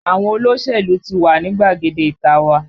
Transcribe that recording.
Àwọn olóṣèlú ti wà ní gbàgede ìta a wa